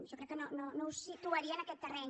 jo crec que no ho situaria en aquest terreny